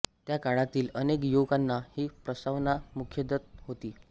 त्या काळातील अनेक युवकांना ही प्रस्तावना मुखोद्गत होती